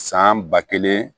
San ba kelen